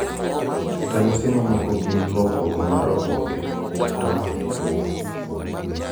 ranyis mamoko gin lokruok mar oboke ratong gi tuwo.